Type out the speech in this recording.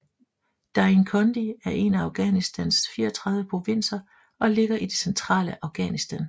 Dainkondi er en af Afghanistans 34 provinser og ligger i det centrale Afghanistan